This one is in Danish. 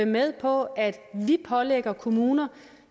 med på at vi pålægger kommuner